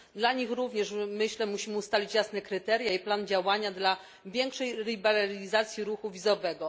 Dla nich również musimy ustalić jasne kryteria i plan działania dla większej liberalizacji ruchu wizowego.